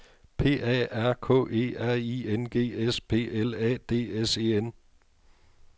P A R K E R I N G S P L A D S E N